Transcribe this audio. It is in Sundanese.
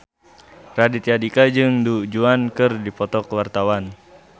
Raditya Dika jeung Du Juan keur dipoto ku wartawan